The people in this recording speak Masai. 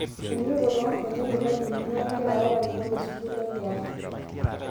Enototo toonkonyek, irmalimuni onkera, ilarikok le sukuul oleang'.